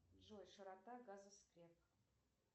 джой широта газоскреп